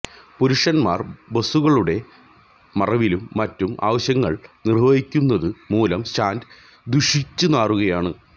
പുരുഷന്മാര് ബസുകളുടെ മറവിലും മറ്റും ആവശ്യങ്ങള് നിര്വ്വഹിക്കുന്നതു മൂലം സ്റ്റാന്റ് ദുഷിച്ച് നാറുകയാണ്